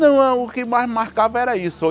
Não não, o que mais marcava era isso.